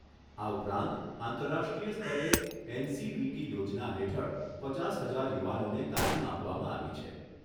આ ઉપરાંત આંતરરાષ્ટ્રીય સ્તરે એનસીવીટી યોજના હેઠળ પચાસ હજાર યુવાનોને તાલિમ આપવામાં આવી છે.